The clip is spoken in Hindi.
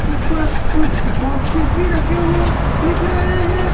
ऊपर कुछ बॉक्सेस भी रखे हुए दिख रहे हैं।